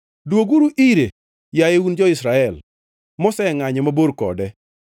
Dwoguru ire, yaye un jo-Israel mosengʼanyo mabor kode.